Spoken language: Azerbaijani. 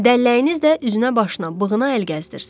Dəlləyiniz də üzünə, başına, bığına əl gəzdirsin.